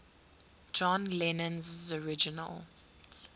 john lennon's original